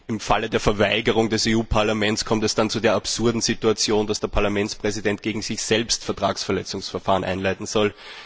Im Falle der Verweigerung der Entlastung für das EU Parlament kommt es dann zu der absurden Situation, dass der Parlamentspräsident gegen sich selbst ein Vertragsverletzungsverfahren einleiten soll.